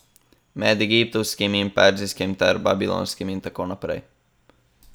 Med egiptovskim in perzijskim ter babilonskim in tako naprej.